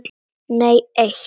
Nei eitt.